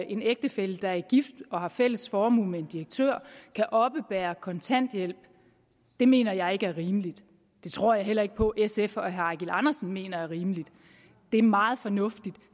en ægtefælle der er gift og har fælles formue med en direktør kan oppebære kontanthjælp det mener jeg ikke er rimeligt det tror jeg heller ikke på sf og herre eigil andersen mener er rimeligt det er meget fornuftigt